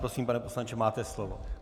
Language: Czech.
Prosím, pane poslanče, máte slovo.